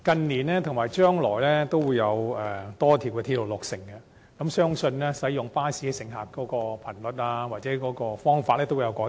日後將有多條鐵路落成，相信乘客使用巴士服務的頻率或方式亦會有所改變。